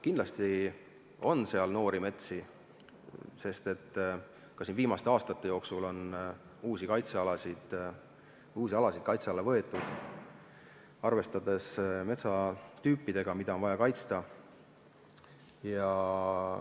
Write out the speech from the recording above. Kindlasti on seal noori metsi, sest ka viimaste aastate jooksul on uusi alasid kaitse alla võetud, arvestades metsatüüpidega, mida on vaja kaitsta.